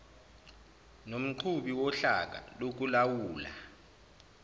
nomqhubi wohlaka lokulawula